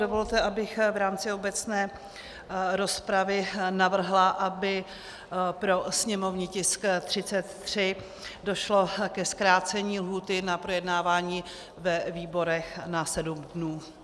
Dovolte, abych v rámci obecné rozpravy navrhla, aby pro sněmovní tisk 33 došlo ke zkrácení lhůty na projednávání ve výborech na sedm dnů.